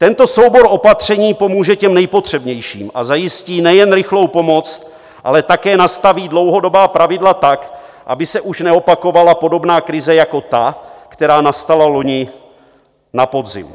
Tento soubor opatření pomůže těm nejpotřebnějším a zajistí nejen rychlou pomoc, ale také nastaví dlouhodobá pravidla tak, aby se už neopakovala podobná krize jako ta, která nastala loni na podzim.